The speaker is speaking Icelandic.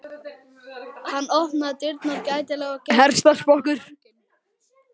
Hann opnaði dyrnar gætilega og gekk fram á ganginn.